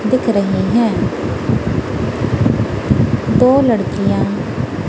दिख रहीं हैं दो लड़कियाँ--